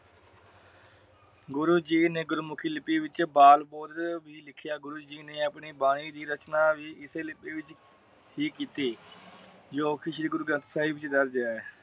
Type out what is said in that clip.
ਗੁਰੂ ਜੀ ਨੇ ਗੁਰਮੁਖੀ ਲਿਪੀ ਵਿਚ ਬਾਲ ਬੁਰਜ ਵੀ ਲਿਖਿਆ। ਗੁਰੂ ਜੀ ਨੇ ਆਪਣੀ ਬਾਣੀ ਦੀ ਰਚਨਾ ਇਸੇ ਲਿਪੀ ਵਿਚ ਹੀ ਕੀਤੀ। ਜੋ ਸ਼੍ਰੀ ਗੁਰੂਗ੍ਰੰਥ ਸਾਹਿਬ ਜੀ ਦੱਸਦੇ ਆ।